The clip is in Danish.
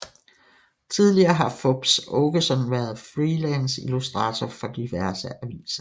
Tidligere har Fupz Aakeson været freelance illustrator for diverse aviser